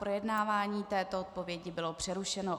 Projednávání této odpovědi bylo přerušeno.